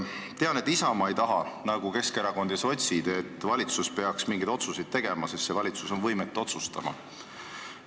Tean, et Isamaa ei taha nagu Keskerakond ja sotsid, et valitsus peaks mingeid otsuseid tegema, sest see valitsus on võimetu otsustama.